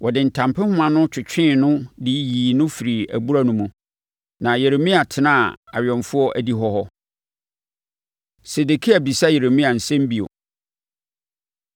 Wɔde ntampehoma no twetwee no de yii no firii abura no mu. Na Yeremia tenaa awɛmfoɔ adihɔ hɔ. Sedekia Bisa Yeremia Nsɛm Bio